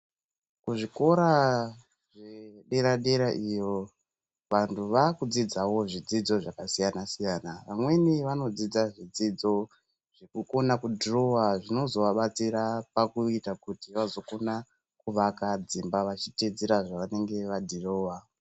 Kuzvikora zvedera-derayo iyo, vantu vakudzidzawo zvidzidzo zvakasiyana-siyana. Vamweni vanodzidza zvidzidzo zvekukona kudhirowa zvinozovabatsira kuti vazokona kuvaka dzimba vachiteedzera zvavanenge vadhirowa.